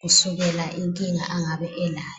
kusukela inkinga angabe elayo.